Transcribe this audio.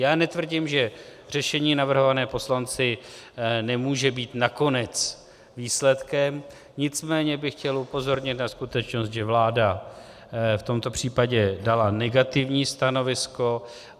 Já netvrdím, že řešení navrhované poslanci nemůže být nakonec výsledkem, nicméně bych chtěl upozornit na skutečnost, že vláda v tomto případě dala negativní stanovisko.